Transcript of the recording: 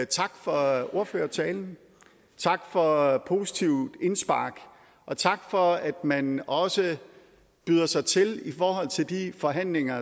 tak for ordførertalen tak for positive indspark og tak for at man også byder sig til i forhold til de forhandlinger